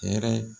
Hɛrɛ